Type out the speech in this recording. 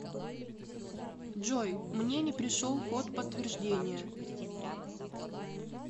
джой мне не пришел код подтверждения